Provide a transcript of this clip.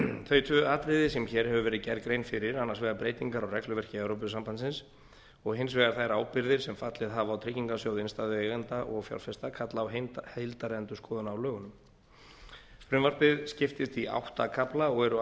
þau tvö atriði sem hér hefur verið gerð grein fyrir annars vegar breytingar á regluverki evrópusambandsins og hins vegar þær ábyrgðir sem fallið hafa á tryggingarsjóð innstæðueigenda og fjárfesta kalla á heildarendurskoðun á lögunum frumvarpið skiptist í átta kafla og eru